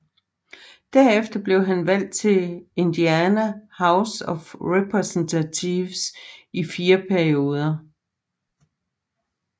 Derefter blev han valgt til Indiana House of Representatives i fire perioder